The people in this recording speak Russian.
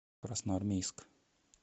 красноармейск